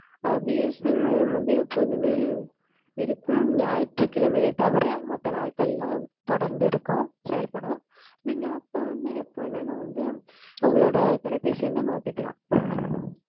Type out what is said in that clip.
அஹ் BSNL மையம் வந்து எப்போதுமே இருக்கும் ஞாயிற்று கிழமையை தவிர மத்த நாட்களெல்லாம் தொடர்ந்து இருக்கும் செயல்படும், நீங்க அப்போ வந்து எப்போ வேணாலும் வந்து உங்களோட தொலைபேசி எண்ண மாத்திகிலாம்